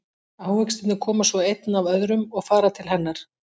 Ávextirnir koma svo einn af öðrum og fara til hennar.